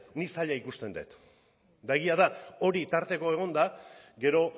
nik zaila ikusten dut eta egia da hori tarteko egonda gero